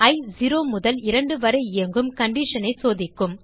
இ 0 முதல் 2 வரை இயங்கும் கண்டிஷன் ஐ சோதிக்கும்